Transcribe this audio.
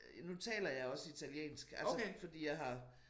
Nu taler jeg også italiensk altså fordi jeg har